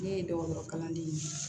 Ne ye dɔgɔtɔrɔ kalanden ye